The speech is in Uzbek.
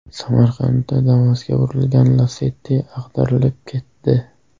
Samarqandda Damas’ga urilgan Lacetti ag‘darilib ketdi.